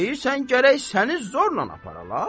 Deyirsən gərək səni zorla aparalar?